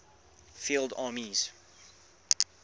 field armies